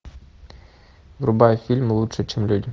врубай фильм лучше чем люди